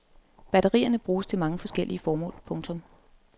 Batterierne bruges til mange forskellige formål. punktum